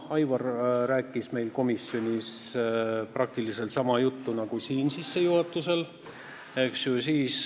Aivar rääkis meil komisjonis praktiliselt sama juttu nagu siin sissejuhatust tehes.